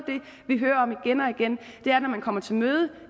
det er at når man kommer til møde